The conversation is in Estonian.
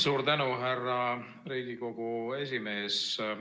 Suur tänu, härra Riigikogu esimees!